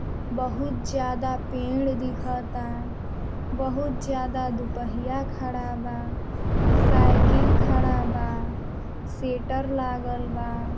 बहुत ज्यादा पेड़ दिखा ता। बहुत ज्यादा दुपहिया खड़ा बा। साइकिल खड़ा बा। सेटर लागल बा।